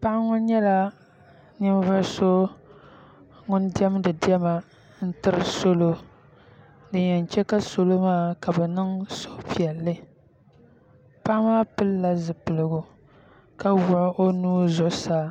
paɣa ŋo nyɛla ninvuɣu so ŋun diɛmdi diɛma n tiri salo din yɛn chɛ ka salo maa ka bi niŋ suhupiɛlli paɣa maa pilila zipiligu ka wuɣi o nuu zuɣusaa